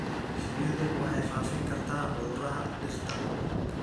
Shinnidu waxay faafin kartaa cudurrada dhirta.